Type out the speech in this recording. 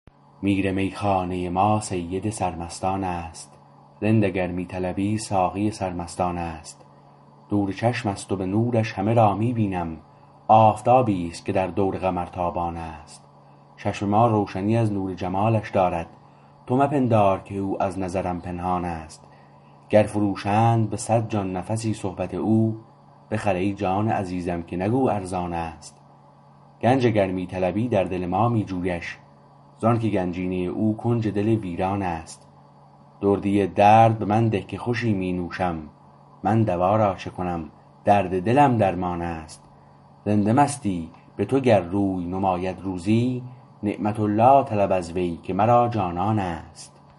میر میخانه ما سید سرمستان است رنداگر می طلبی ساقی سرمستان است نور چشم است و به نورش همه را می بینم آفتابی است که در دور قمر تابان است چشم ما روشنی از نور جمالش دارد تو مپندار که او از نظرم پنهان است گر فروشند به صد جان نفسی صحبت او بخر ای جان عزیزم که نگو ارزان است گنج اگر می طلبی در دل ما می جویش زانکه گنجینه او کنج دل ویران است دردی درد به من ده که خوشی می نوشم من دوا را چه کنم درد دلم درمان است رند مستی به تو گر روی نماید روزی نعمت الله طلب از وی که مرا جانان است